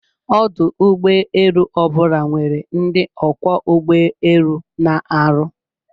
Ọdụ ụgbọ elu obula nwere ndi Ọkwọ ugbo elu na-arụ